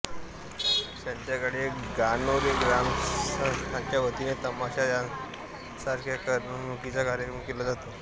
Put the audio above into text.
संध्याकाळी गणोरे ग्रामस्थांच्या वतीने तमाशा सारखा करमणुकीचा कार्यक्रम केला जातो